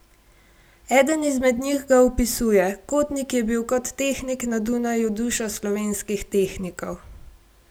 Eden izmed njih ga opisuje: 'Kotnik je bil kot tehnik na Dunaju duša slovenskih tehnikov.